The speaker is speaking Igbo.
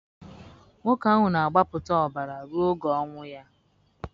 nwoke ahụ na-agbapụta ọbara ruo oge onwe ya.